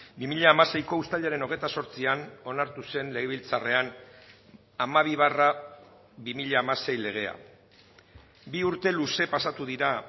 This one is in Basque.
bi mila hamaseiko uztailaren hogeita zortzian onartu zen legebiltzarrean hamabi barra bi mila hamasei legea bi urte luze pasatu dira